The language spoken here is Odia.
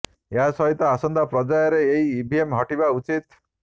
ଏହା ସହିତ ଆସନ୍ତା ପର୍ଯ୍ୟାୟରେ ଏହି ଇଭିଏମ ହଟିବା ଉଚିତ୍